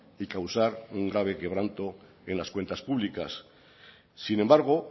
y causar un grave quebranto en las cuentas públicas sin embargo